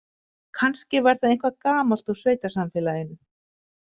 Kannski var það eitthvað gamalt úr sveitasamfélaginu.